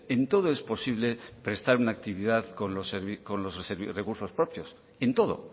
en todo es posible prestar una actividad con los recursos propios en todo